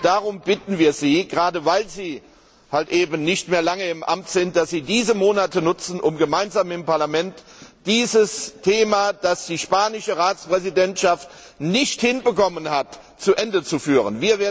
Darum bitten wir Sie, gerade weil Sie eben nicht mehr lange im Amt sind, dass Sie diese Monate nutzen, um gemeinsam mit dem Parlament dieses Thema, das die spanische Ratspräsidentschaft nicht hinbekommen hat, zu Ende zu führen.